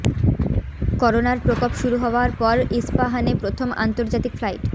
করোনার প্রকোপ শুরু হওয়ার পর ইস্পাহানে প্রথম আন্তর্জাতিক ফ্লাইট